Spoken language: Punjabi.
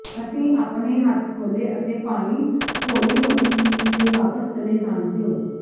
ਅਸੀਂ ਆਪਣੇ ਹੱਥ ਖੋਲੇ ਅਤੇ ਪਾਣੀ ਹੌਲੀ ਹੌਲੀ ਝੀਲ ਤੇ ਵਾਪਸ ਚਲੇ ਜਾਣ ਦਿਉ